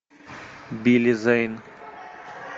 билли зейн